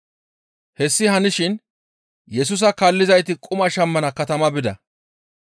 Hessi hanishin Yesusa kaallizayti quma shammana katama bida.